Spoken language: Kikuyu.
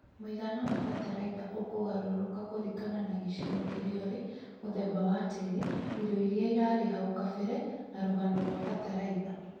Mũigana wa fatalaitha ũkũgarũrũka kũringana na gĩcigo kĩrĩa urĩ, mũthemba wa tĩĩri, irio iria irarĩ hau kabere na rũgano rwa fatalaitha